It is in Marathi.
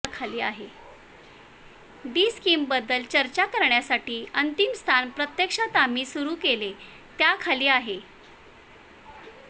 डी स्कीमबद्दल चर्चा करण्यासाठी अंतिम स्थान प्रत्यक्षात आम्ही सुरु केले त्या खाली आहे